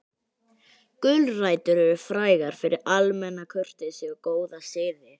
Gulrætur eru frægar fyrir almenna kurteisi og góða siði.